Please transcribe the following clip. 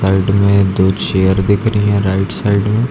Side में दो chair दिख रही हैं राइट साइड में।